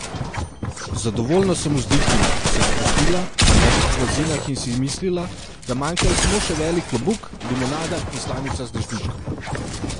Zadovoljno sem vzdihnila, se sprostila na mehkih blazinah in si mislila, da manjkajo samo še velik klobuk, limonada in slamica z dežničkom.